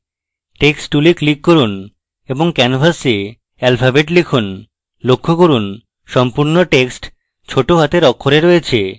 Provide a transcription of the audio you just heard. text tool click করুন এবং canvas alphabets লিখুন লক্ষ্য করুন সম্পূর্ণ text ছোট হাতের অক্ষরে রয়েছে